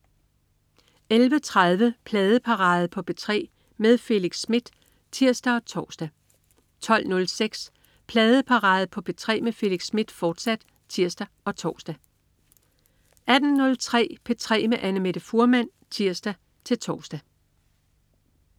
11.30 Pladeparade på P3 med Felix Smith (tirs og tors) 12.06 Pladeparade på P3 med Felix Smith, fortsat (tirs og tors) 18.03 P3 med Annamette Fuhrmann (tirs-tors)